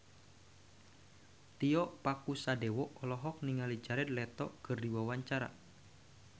Tio Pakusadewo olohok ningali Jared Leto keur diwawancara